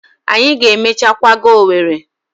Anyi ga emechaa kwaga Owerri.